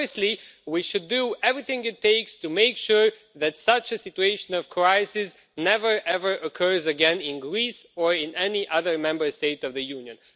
Firstly, we should do everything it takes to make sure that such a situation of crisis never ever occurs again in Greece or in any other Member State of the Union.